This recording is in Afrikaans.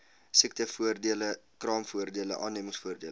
siektevoordele kraamvoordele aannemingsvoordele